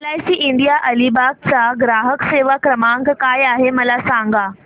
LIC India Alibag चा ग्राहक सेवा क्रमांक काय आहे मला सांगा